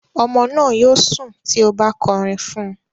Ọmọ náà yóò sùn tí o bá kọrin fún un.